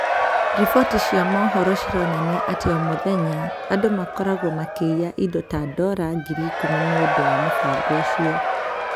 Riboti cia mohoro cironania atĩ o mũthenya, andũ makoragwo makĩiya indo ta dora ngiri ikumi nĩ ũndũ wa mũbango ũcio